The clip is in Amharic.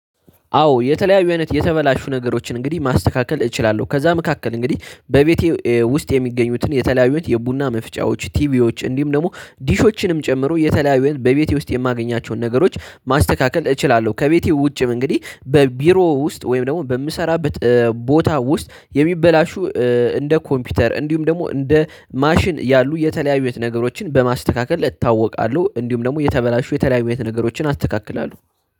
አዎ የተለያዩ አይነት የተበላሹ ነገሮችን እንግዲህ ማስተካከል እችላለሁ ከዛ መካከል እንግዲህ በቤቴ ውስጥ የሚገኙትን የተለያዩት የቡና መፍጫዎች ቲቪዎች ደግሞ ዲሾችንም ጨምሮ የተለያዩን በቤቴ ውስጥ የማገኛቸውን ነገሮች ማስተካከል እችላለሁ። ከቤቴ ውጭም እንግዲህ በቢሮ ውስጥ ወይም ደግሞ በምሰራበት ቦታ ውስጥ የሚበላሹ እንደ ኮምፒውተር እንዲሁም ደግሞ እንደ ማሽን ያሉ የተለያዩ አይነት ነገሮችን በማስተካከል እታወቃለሁ። እንዲሁም ደግሞ የተበላሹ የተለያዩ አይነት ነገሮችን አስተካክላለሁ